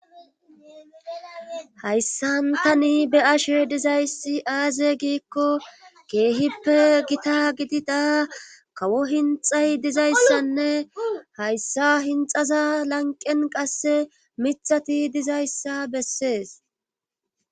hayssantani be ashe dizayssi aaze giikko keehippe gita gidida kawo hinxay dizayssanne hayssa hinxaza lanqen qasse mithati dizayssa bessees